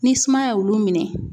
Ni sumaya y'olu minɛ